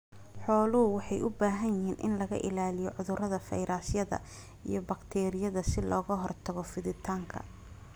Xooluhu waxay u baahan yihiin in laga ilaaliyo cudurrada fayrasyada iyo bakteeriyada si looga hortago fiditaanka.